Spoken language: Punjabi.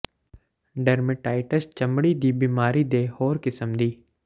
ਡਰਮੇਟਾਇਟਸ ਜ ਚਮੜੀ ਦੀ ਬਿਮਾਰੀ ਦੇ ਹੋਰ ਕਿਸਮ ਦੀ